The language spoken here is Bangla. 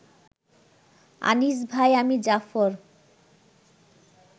আনিস ভাই, আমি জাফর